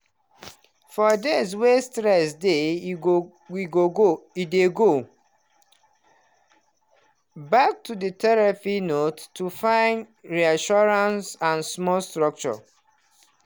for days wey stress dey e go we go go he dey go back to the therapy notes to find reassurance and small structure.